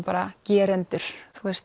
bara gerendur